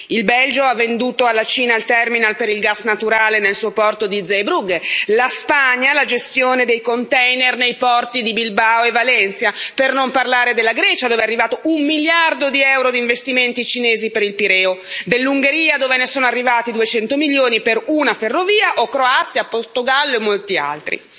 Il Belgio ha venduto alla Cina il terminal per il gas naturale nel suo porto di Zeebrugge, la Spagna la gestione dei container nei porti di Bilbao e Valencia, per non parlare della Grecia dove è arrivato un miliardo di euro di investimenti cinesi per il Pireo, dell'Ungheria dove ne sono arrivati 200 milioni per una ferrovia, o Croazia, Portogallo e molti altri.